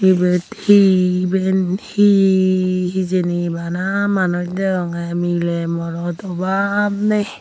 ebat he ebane he hejani bana manus dagogay melay morat obab nai.